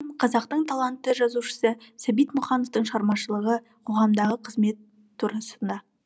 қазақтың талантты жазушысы сәбит мұқановтың шығармашылығы қоғамдағы қызметі турасында